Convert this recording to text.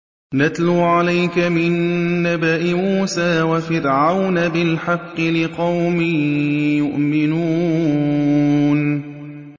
نَتْلُو عَلَيْكَ مِن نَّبَإِ مُوسَىٰ وَفِرْعَوْنَ بِالْحَقِّ لِقَوْمٍ يُؤْمِنُونَ